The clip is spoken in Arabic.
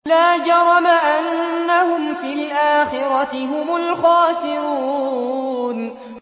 لَا جَرَمَ أَنَّهُمْ فِي الْآخِرَةِ هُمُ الْخَاسِرُونَ